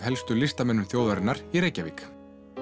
helstu listamenn þjóðarinnar í Reykjavík